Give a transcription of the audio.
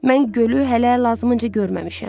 Mən gölü hələ lazımınca görməmişəm.